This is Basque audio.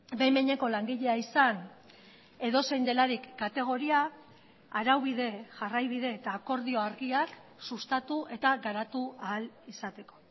behin behineko langilea izan edozein delarik kategoria araubide jarraibide eta akordio argiak sustatu eta garatu ahal izateko